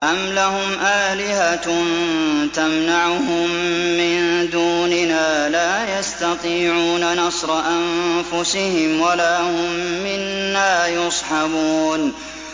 أَمْ لَهُمْ آلِهَةٌ تَمْنَعُهُم مِّن دُونِنَا ۚ لَا يَسْتَطِيعُونَ نَصْرَ أَنفُسِهِمْ وَلَا هُم مِّنَّا يُصْحَبُونَ